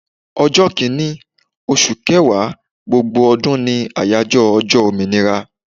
Ọjọ́ Kínní, oṣù kẹwàá gbogbo ọdún ni àyájọ́ ọjọ́ òmìnira.